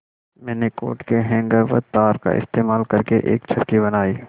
मैंने कोट के हैंगर व तार का इस्तेमाल करके एक चरखी बनाई